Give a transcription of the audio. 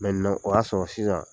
o y'a sɔrɔ sisan